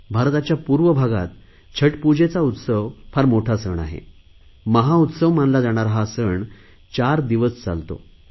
भारताच्या पूर्व भागात छठपूजेचा उत्सव फार मोठा सण असतो महाउत्सव मानला जाणारा हा सण चार दिवस चालतो